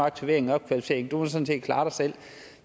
aktivering og opkvalificering du må sådan set klare dig selv